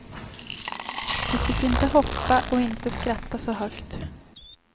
Vi fick inte hoppa och inte skratta så högt.